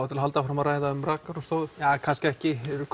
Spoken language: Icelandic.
til að halda áfram að ræða rakarastofur eða kannski ekki eru